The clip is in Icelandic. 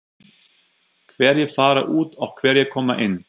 Hverjir fara út og hverjir koma inn?